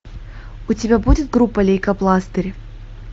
у тебя будет группа лейкопластырь